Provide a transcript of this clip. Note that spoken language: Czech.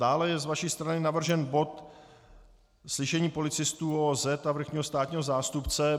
Dále je z vaší strany navržen bod - slyšení policistů ÚOOZ a vrchního státního zástupce.